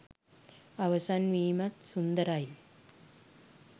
අවසන් වීමත් සුන්දරයි.